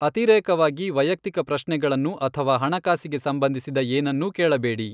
ಅತಿರೇಕವಾಗಿ ವೈಯಕ್ತಿಕ ಪ್ರಶ್ನೆಗಳನ್ನು ಅಥವಾ ಹಣಕಾಸಿಗೆ ಸಂಬಂಧಿಸಿದ ಏನನ್ನೂ ಕೇಳಬೇಡಿ.